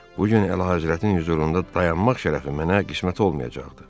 Bu gün Əlahəzrətin hüzurunda dayanmaq şərəfi mənə qismət olmayacaqdı.